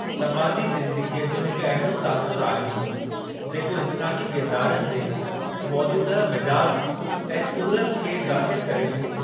समाजी ज़िंदगीअ जो हिकु अहिड़ो तासुर आहे, जेको इन्सानी किरदारनि जे मौजूदह मिज़ाज ऐं सूरतं खे ज़ाहिरु करे थो।